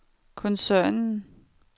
koncernen